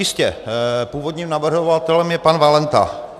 Jistě, původním navrhovatelem je pan Valenta.